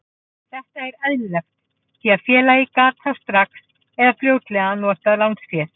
Þetta er eðlilegt því að félagið gat þá strax eða fljótlega notað lánsféð.